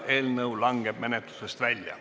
Eelnõu langeb menetlusest välja.